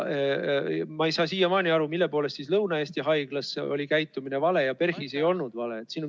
Ma ei saa siiamaani aru, mille poolest Lõuna-Eesti Haiglas oli selline käitumine vale, aga PERH-is ei olnud.